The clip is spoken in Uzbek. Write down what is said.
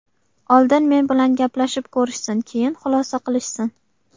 Oldin men bilan gaplashib ko‘rishsin, keyin xulosa qilishsin.